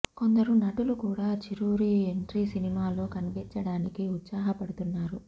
కొందరు నటులు కూడా చిరు రీ ఎంట్రీ సినిమాలో కనిపించటానికి ఉత్సాహ పడుతున్నారు